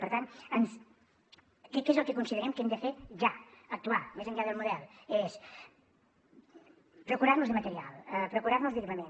per tant què és el que considerem que hem de fer ja actuar més enllà del model és procurar nos de material procurar nos d’equipament